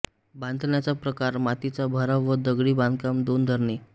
बांधण्याचा प्रकार मातीचा भराव व दगडी बांधकाम दोन धरणे